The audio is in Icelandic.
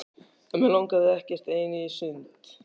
En mig langaði ekkert ein í sund.